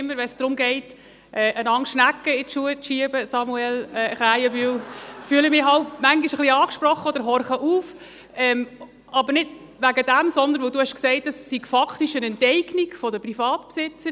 Immer wenn es darum geht, einander Schnecken in die Schuhe zu schieben, Samuel Krähenbühl, fühle ich mich jeweils auch etwas angesprochen oder horche auf – aber nicht wegen dem, sondern weil du gesagt hast, es sei faktisch eine Enteignung der Privatbesitzer.